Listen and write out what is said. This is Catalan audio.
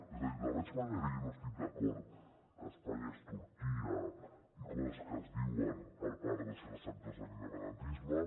és a dir de la mateixa manera que jo no estic d’acord que espanya és turquia i coses que es diuen per part de certs sectors de l’independentisme